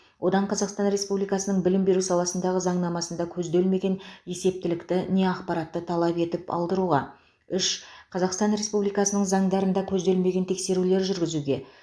одан қазақстан республикасының білім беру саласындағы заңнамасында көзделмеген есептілікті не ақпаратты талап етіп алдыруға үш қазақстан республикасының заңдарында көзделмеген тексерулер жүргізуге